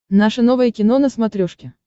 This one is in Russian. наше новое кино на смотрешке